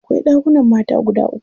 Akwai ɗakunan mata guda uku.